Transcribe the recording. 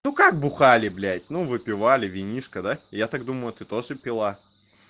ну как бухали блядь ну выпивали винишко да я так думаю ты тоже пила